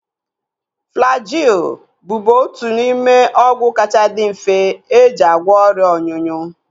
Flajil bụbu otu n'ime ọgwụ kacha dị mfe eji agwọ ọrịa ọnyụnyụ